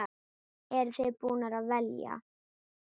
Eru þið búin að velja?